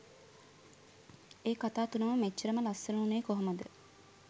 ඒ කතා තුනම මෙච්චරම ලස්සන වුණේ කොහොමද